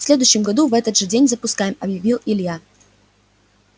в следующем году в этот же день запускаем объявил илья